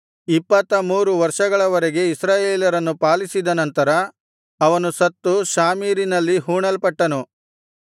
ಇಪ್ಪತ್ತಮೂರು ವರ್ಷಗಳವರೆಗೆ ಇಸ್ರಾಯೇಲರನ್ನು ಪಾಲಿಸಿದ ನಂತರ ಅವನು ಸತ್ತು ಶಾಮೀರಿನಲ್ಲಿ ಹೂಣಲ್ಪಟ್ಟನು